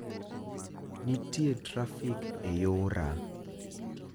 Nitie trafik e yora